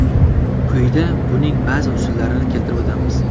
Quyida buning ba’zi usullarini keltirib o‘tamiz.